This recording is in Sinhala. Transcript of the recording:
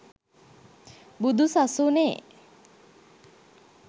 බුදු සසුනේ